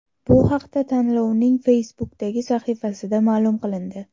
Bu haqda tanlovning Facebook’dagi sahifasida ma’lum qilindi .